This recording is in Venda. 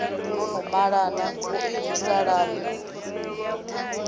no no malana vhoinwi salani